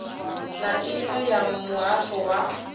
na iṅwe ya muhasho wa